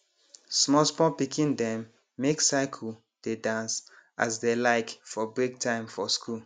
small small pikin dem make circle dey dance as dey like for breaktime for school